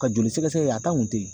Ka joli sɛgɛsɛgɛ kɛ a kun tɛ yen